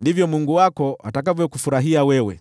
ndivyo Mungu wako atakavyokufurahia wewe.